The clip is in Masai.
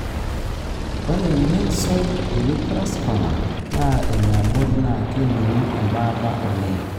ore Myxoid liposarcoma na eniabori na keningu embaata oleng,